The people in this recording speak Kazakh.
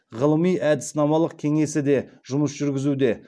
ғылыми әдіснамалық кеңесі де жұмыс жүргізуде